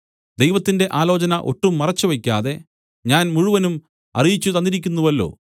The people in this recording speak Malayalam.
ദൈവത്തിന്റെ ആലോചന ഒട്ടും മറച്ചുവെക്കാതെ ഞാൻ മുഴുവനും അറിയിച്ചുതന്നിരിക്കുന്നുവല്ലോ